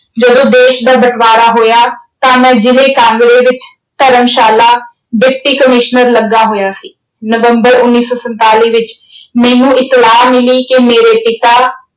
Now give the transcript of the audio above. ਜਦੋਂ ਦੇਸ਼ ਦਾ ਬਟਵਾਰਾ ਹੋਇਆ ਤਾਂ ਮੈਂ ਜ਼ਿਲੇ ਕਾਂਗੜੇ ਵਿੱਚ ਧਰਮਸ਼ਾਲਾ Deputy Commissioner ਲੱਗਾ ਹੋਇਆ ਸੀ। ਨਵੰਬਰ ਉਨੀ ਸੌ ਸੰਤਾਲੀ ਵਿੱਚ ਮੈਨੂੰ ਇਤਲਾਹ ਮਿਲੀ ਕਿ ਮੇਰੇ ਪਿਤਾ